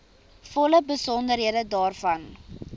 volle besonderhede daarvan